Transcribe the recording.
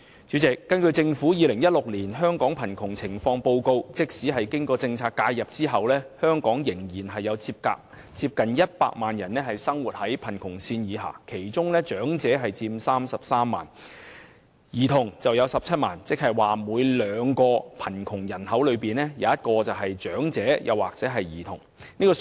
主席，根據政府《2016年香港貧窮情況報告》，即使經過政策介入後，香港仍有接近100萬人生活在貧窮線下，其中長者佔33萬人，兒童佔17萬人，即每兩名貧窮人口，便有一名是長者或兒童。